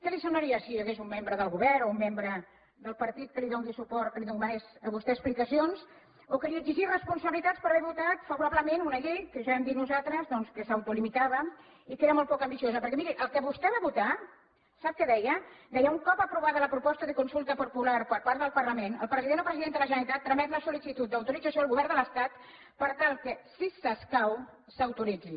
que li semblaria si hi hagués un membre del govern o un membre del partit que li dóna suport que li demanés a vostè explicacions o que li exigís responsabilitats per haver votat favorablement una llei que ja hem dit nosaltres doncs que s’autolimitava i que era molt poc ambiciosa perquè miri el que vostè va votar sap què deia deia un cop aprovada la proposta de consulta popular per part del parlament el president o presidenta de la generalitat tramet la sol·licitud d’autorització al govern de l’estat per tal que si s’escau s’autoritzi